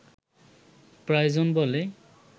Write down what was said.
প্রয়োজন বলে